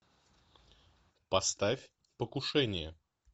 поставь покушение